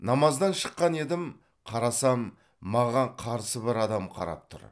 намаздан шыққан едім қарасам маған қарсы бір адам қарап тұр